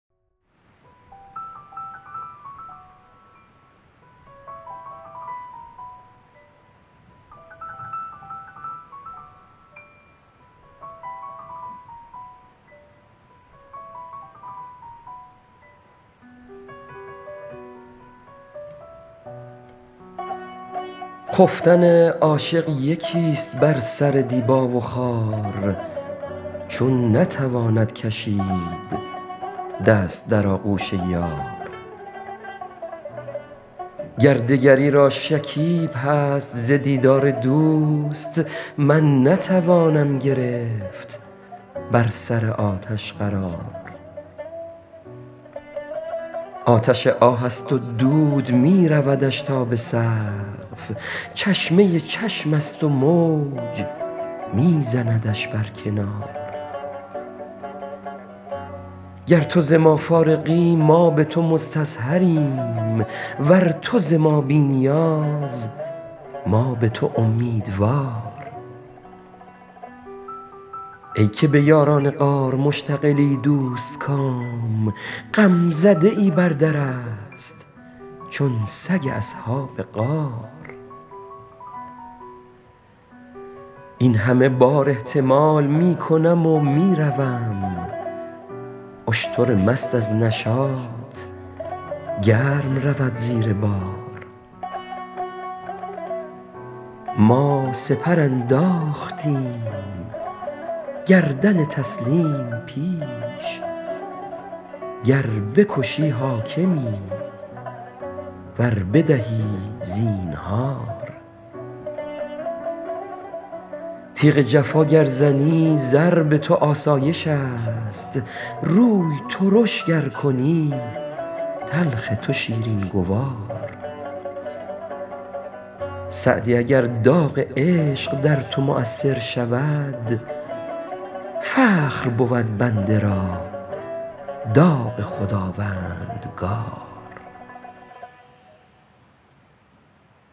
خفتن عاشق یکیست بر سر دیبا و خار چون نتواند کشید دست در آغوش یار گر دگری را شکیب هست ز دیدار دوست من نتوانم گرفت بر سر آتش قرار آتش آه است و دود می رودش تا به سقف چشمه چشمست و موج می زندش بر کنار گر تو ز ما فارغی ما به تو مستظهریم ور تو ز ما بی نیاز ما به تو امیدوار ای که به یاران غار مشتغلی دوستکام غمزده ای بر درست چون سگ اصحاب غار این همه بار احتمال می کنم و می روم اشتر مست از نشاط گرم رود زیر بار ما سپر انداختیم گردن تسلیم پیش گر بکشی حاکمی ور بدهی زینهار تیغ جفا گر زنی ضرب تو آسایشست روی ترش گر کنی تلخ تو شیرین گوار سعدی اگر داغ عشق در تو مؤثر شود فخر بود بنده را داغ خداوندگار